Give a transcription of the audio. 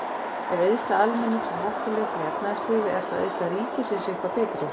Ef eyðsla almennings er hættuleg fyrir efnahagslífið, er þá eyðsla ríkisins eitthvað betri?